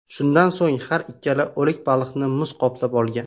Shundan so‘ng har ikkala o‘lik baliqni muz qoplab olgan.